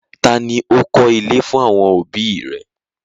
Taa ni ó kọ́ ilé fún àwọn òbí i rẹ̀?